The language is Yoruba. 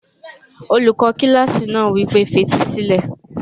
Olùkọ́ kílásì náà wí pé, fetí sílẹ̀!